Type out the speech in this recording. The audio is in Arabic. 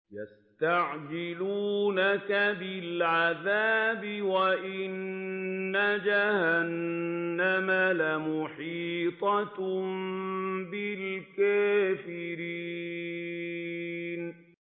يَسْتَعْجِلُونَكَ بِالْعَذَابِ وَإِنَّ جَهَنَّمَ لَمُحِيطَةٌ بِالْكَافِرِينَ